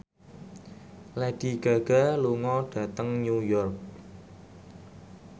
Lady Gaga lunga dhateng New York